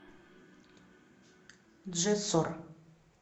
джессор